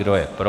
Kdo je pro?